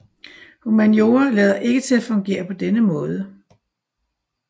Humaniora lader ikke til at fungere på denne måde